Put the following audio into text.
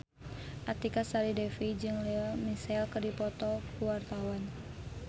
Artika Sari Devi jeung Lea Michele keur dipoto ku wartawan